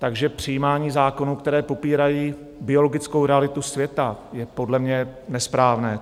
Takže přijímání zákonů, které popírají biologickou realitu světa, je podle mě nesprávné.